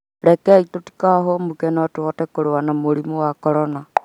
Rekei tũtikahũmũke no tũhote kũrũa na mũrimũ wa Corona